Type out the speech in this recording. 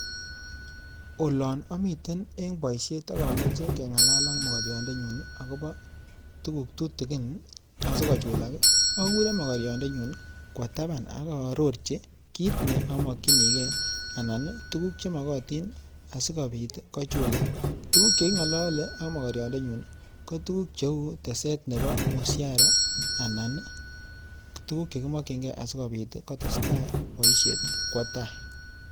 olan amiten eng paisheet akoamechei angalala ak makariiot ko tuguuk chekingalale ak makariot kotuuguk chemagat kotesteai eng poishonik akochetese rapisheek ap paishet